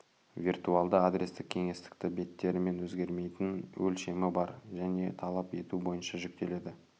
виртуалды адрестік кеңістікті беттері өзгермейтін өлшемі бар және талап ету бойынша жүктеледі